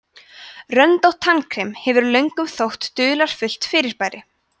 röndótt tannkrem hefur löngum þótt dularfullt fyrirbæri